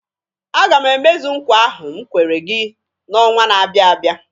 A ga m emezu nkwa ahụ m kwere gị n'ọnwa na-abia abịa.